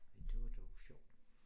Men det var dog sjovt